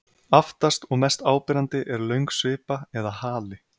Aftast og mest áberandi er löng svipa eða hali.